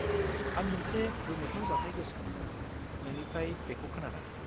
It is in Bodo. आं मोनसे गोमोथाव जाथाय गोसोखांदों नोंनिफ्राय बेखौ खोनानानै।